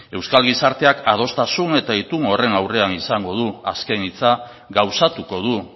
euskal gizarteak adostasun eta itun horren aurrean izango du azken hitza gauzatuko du